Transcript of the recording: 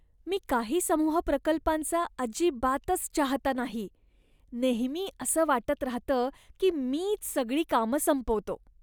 मी काही समूह प्रकल्पांचा अजिबातच चाहता नाही, नेहमी असं वाटत राहतं की मीच सगळी कामं संपवतो.